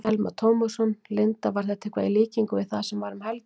Telma Tómasson: Linda, var þetta eitthvað í líkingu við það sem var um helgina?